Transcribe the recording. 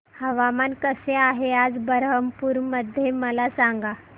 हवामान कसे आहे आज बरहमपुर मध्ये मला सांगा